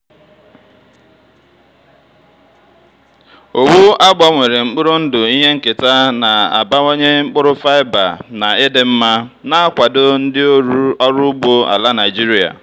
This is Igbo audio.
owu a gbanwere mkpụrụ ndụ ihe nketa na-abawanye mkpụrụ fiber na ịdị mma na-akwado ndị ọrụ ugbo ala nigeria.